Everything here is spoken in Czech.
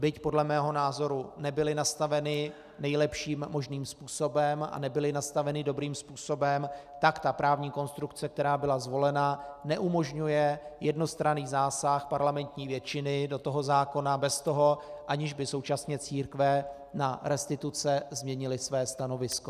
Byť podle mého názoru nebyla nastavena nejlepším možným způsobem a nebyla nastavena dobrým způsobem, tak ta právní konstrukce, která byla zvolena, neumožňuje jednostranný zásah parlamentní většiny do toho zákona bez toho, aniž by současně církve na restituce změnily své stanovisko.